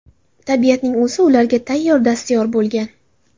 Tabiatning o‘zi ularga tayyor dastyor bo‘lgan.